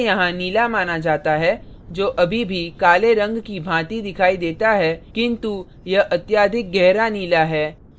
इसे यहाँ नीला माना जाता है जो अभी भी काले रंग की भांति दिखाई देता है किन्तु यह अत्याधिक गहरा नीला है